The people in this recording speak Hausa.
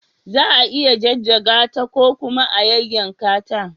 Za a iya jajjaga ta ko kuma a yayyanka ta.